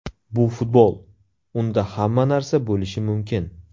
Bu futbol, unda hamma narsa bo‘lishi mumkin.